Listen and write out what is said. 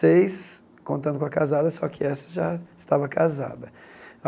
Seis, contando com a casada, só que essa já estava casada.